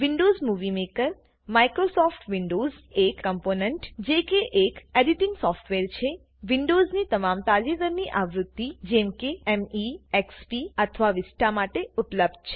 Windows Movie Maker Microsoft Windows એક component જે કે એક એડીટીંગ સોફ્ટવેર છે વિન્ડોઝની તમામ તાજેતરની આવૃત્તિ જેમ કે મે એક્સપી અથવા વિસ્ટા માટે ઉપલબ્ધ છે